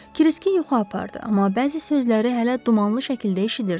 Kriski yuxu apardı, amma bəzi sözləri hələ dumanlı şəkildə eşidirdi.